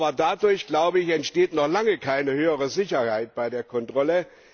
Aber dadurch entsteht noch lange keine höhere Sicherheit bei der Kontrolle.